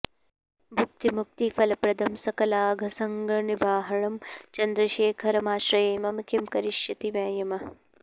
भुक्तिमुक्तिफलप्रदं सकलाघसङ्घनिबर्हणं चन्द्रशेखरमाश्रये मम किं करिष्यति वै यमः